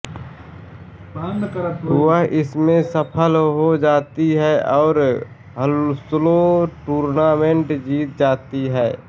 वह इसमें सफल हो जाती है और हाउंस्लो टूर्नामेंट जीत जाती है